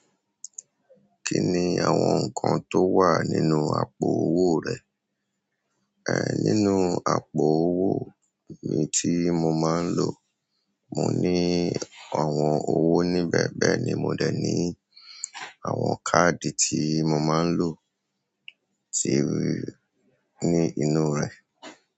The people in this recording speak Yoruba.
Kí ni àwọn nǹkan tó wà nínú àpò owó rẹ? Ẹ̀ nínú àpò owó mi tí mo máa ń lò, mo ní àwọn owó níbẹ̀, bẹ́ẹ̀ ni mò dẹ̀ ní àwọn káàdì tí mo máa ń lò tí wá ní inú rẹ̀.